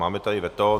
Máme tady veto.